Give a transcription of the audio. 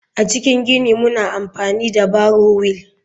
A cikin gini muna amfani da barrow wheel.